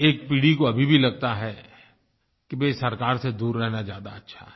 एक पीढ़ी को अभी भी लगता है कि भाई सरकार से दूर रहना ज्यादा अच्छा है